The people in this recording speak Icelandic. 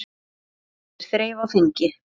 Oft er þref á þingi.